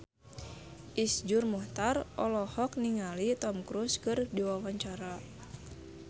Iszur Muchtar olohok ningali Tom Cruise keur diwawancara